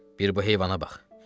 Bir bu heyvana bax!